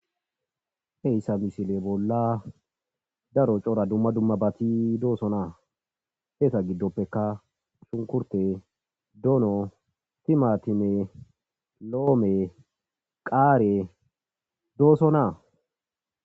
Heyssa misile bolla daro cora dumma dumma baati doosonaa heeta giddoppeka sunkurte doono timatime loome qaare doosonaa.